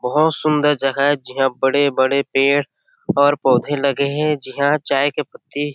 बहुत सुन्दर जगह है जिहा बड़े बड़े पेड़ और पौधे लगे हैं जिहा चाय की पत्ती। --